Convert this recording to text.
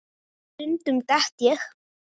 Stundum dett ég.